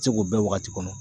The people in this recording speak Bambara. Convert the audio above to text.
Se k'o bɛɛ wagati kɔnɔ